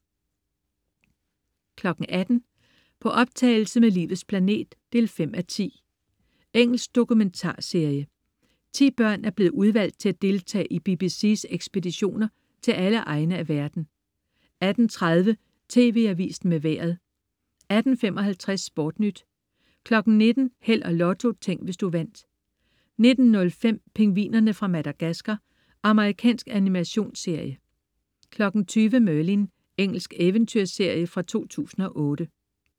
18.00 På optagelse med Livets planet 5:10. Engelsk dokumentarserie. 10 børn er blevet udvalgt til at deltage i BBC's ekspeditioner til alle egne af verden 18.30 TV Avisen med Vejret 18.55 SportNyt 19.00 Held og Lotto. Tænk, hvis du vandt 19.05 Pingvinerne fra Madagascar. Amerikansk animationsserie 20.00 Merlin. Engelsk eventyrserie fra 2008